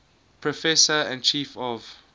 professor and chief of